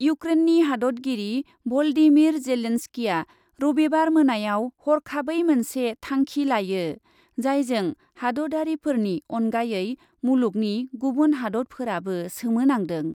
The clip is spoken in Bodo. इउक्रेननि हादतगिरि भलदिमिर जेलेनस्किया रबिबार मोनायाव हरखाबै मोनसे थांखि लायो, जायजों हादतआरिफोरनि अनगायै मुलुगनि गुबुन हादतफोराबो सोमोनांदों।